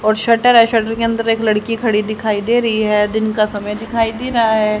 और शटर है शटर के अंदर एक लड़की खड़ी दिखाईं दे रही हैं दिन का समय दिखाई दे रहा हैं।